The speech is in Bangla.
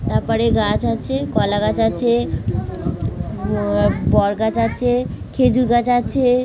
তারপরে গাছ আছে কলাগাছ আছে অ্যা বড় গাছ আছে খেজুর গাছ আছে --